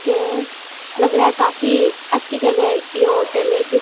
के लग रहा है। काफी अच्छी जगह ये होटल है क्योंकि --